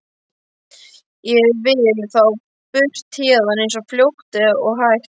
Ég vil þá burt héðan eins fljótt og hægt er.